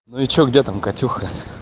ну и что где там катюха